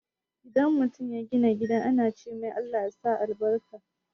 In mutum ya gina gida ana cemai "Allah sa albarka"